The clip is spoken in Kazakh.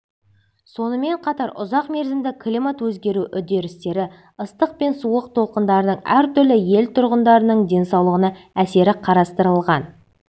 сонымен қатар ұзақ мерзімді климат өзгеру үдерістері ыстық пен суық толқындардың әртүрлі ел тұрғындарының денсаулығына әсері қарастырылған